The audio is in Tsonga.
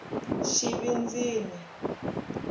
xivindzini